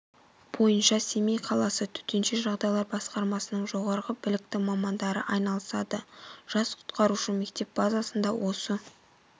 бойынша семей қаласы төтенше жағдайлар басқармасының жоғары білікті мамандары айналысады жас құтқарушы мектеп базасында осы